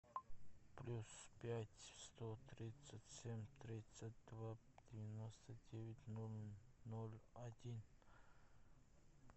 плюс пять сто тридцать семь тридцать два девяносто девять ноль ноль один